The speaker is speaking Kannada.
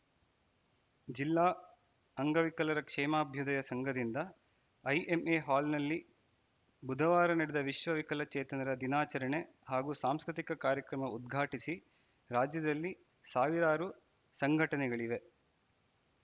ಜಿಲ್ಲಾ ಅಂಗವಿಕಲರ ಕ್ಷೇಮಾಭ್ಯುದಯ ಸಂಘದಿಂದ ಐಎಂಎ ಹಾಲ್‌ನಲ್ಲಿ ಬುಧವಾರ ನಡೆದ ವಿಶ್ವವಿಕಲಚೇತನರ ದಿನಾಚರಣೆ ಹಾಗೂ ಸಾಂಸ್ಕೃತಿಕ ಕಾರ್ಯಕ್ರಮ ಉದ್ಘಾಟಿಸಿ ರಾಜ್ಯದಲ್ಲಿ ಸಾವಿರಾರು ಸಂಘಟನೆಗಳಿವೆ